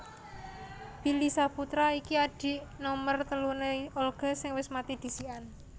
Billy Syahputra iki adik nomer telune Olga sing wes mati dhisikan